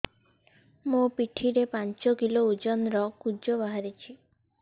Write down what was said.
ମୋ ପିଠି ରେ ପାଞ୍ଚ କିଲୋ ଓଜନ ର କୁଜ ବାହାରିଛି